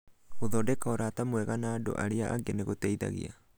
Gũthondeka ũrata mwega na andũ arĩa angĩ nĩ gũteithagia